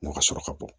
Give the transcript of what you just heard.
U ka sɔrɔ ka bɔ